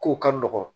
Kow ka nɔgɔn